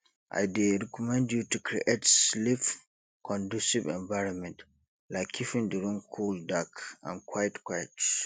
i dey recommend you to create sleepconducive environment like keeping di room cool dark and quiet quiet